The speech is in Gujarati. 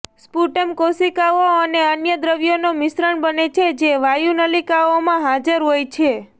સ્પુટમ કોશિકાઓ અને અન્ય દ્રવ્યનો મિશ્રણ બને છે જે વાયુનલિકાઓમાં હાજર હોય છે